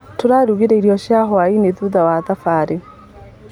Tũrarugire irio cia hwainĩ thutha wa thabari.